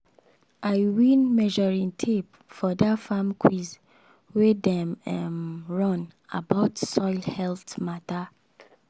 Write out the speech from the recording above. i win measuring tape for that farm quiz wey dem um run about soil health matter.